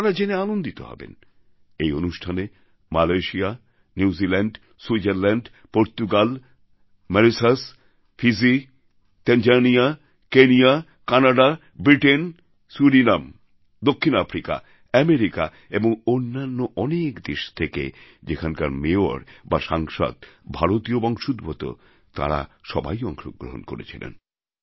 আপনারা জেনে আনন্দিত হবেন এই অনুষ্ঠানে Malaysia New Zealand Switzerland Portugal Mauritius Fiji Tanzania Kenya Canada Britain Suriname দক্ষিণ আফ্রিকা আমেরিকা এবং অন্যান্য অনেক দেশ থেকে যেখানকার মেয়র বা সাংসদ ভারতীয় বংশোদ্ভূত তাঁরা সবাই অংশগ্রহণ করেছিলেন